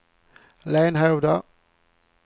Lenhovda